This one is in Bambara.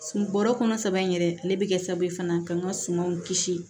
Bɔrɔ kɔnɔ sabanan yɛrɛ ale bɛ kɛ sababu ye fana ka n ka sumaw kisi